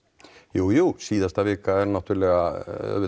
jú jú síðasta vika er náttúrulega